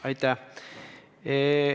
Aitäh!